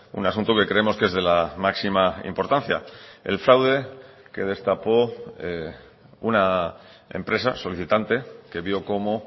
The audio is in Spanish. un asunto que creemos que es de la máxima importancia el fraude que destapó una empresa solicitante que vio como